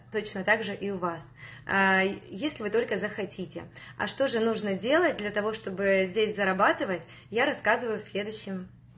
точно так же и у вас аа если вы только захотите а что же нужно делать для того чтобы ээ здесь зарабатывать я рассказываю в следующем